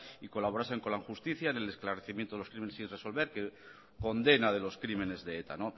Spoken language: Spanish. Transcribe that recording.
y colaborasen con la justicia en el esclarecimiento de los crímenes sin resolver condena de los crímenes de eta